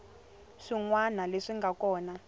swin wana leswi nga kona